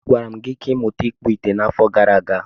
Agwara m gi ka ịmuta ịkpụ ite n'afo gara aga.